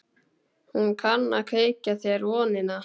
Hún kann að kveikja þér vonina.